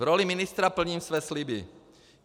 V roli ministra plním své sliby.